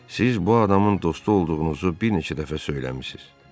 Siz bu adamın dostu olduğunuzu bir neçə dəfə söyləmisiniz.